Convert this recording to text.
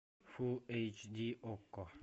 фулл эйч ди окко